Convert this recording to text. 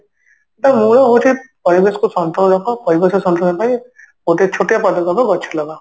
ତ ମୂଳ ହଉଛି ପରିବେଶ କୁ ସନ୍ତୁଳନ ରଖ ପରିବେଶ ସନ୍ତୁଳନ ପାଇଁ ଗୋଟିଏ ଛୋଟିଆ ପଦକ୍ଷପ ଗଛ ଲଗାଅ